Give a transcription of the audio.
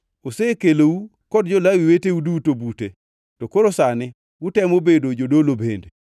Osekelou kod jo-Lawi weteu duto bute, to koro sani utemo bedo jodolo bende.